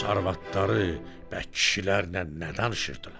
Urus arvadları bə kişilərlə nə danışırdılar?